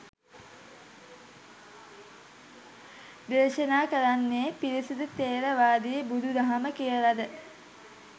දේශනා කරන්නෙ පිරිසිදු ථේරවාදී බුදු දහම කියලද?